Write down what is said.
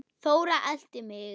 Þóra elti mig.